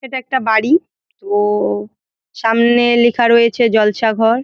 এটা একটা বাড়ি ও-ও সামনে লেখা রয়েছে জলসা ঘর ।